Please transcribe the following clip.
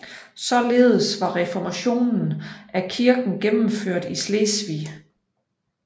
Således var reformationen af Kirken gennemført i Slesvig